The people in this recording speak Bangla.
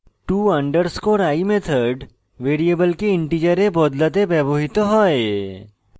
to _ i method ভ্যারিয়েবলকে integer বদলাতে ব্যবহৃত হয়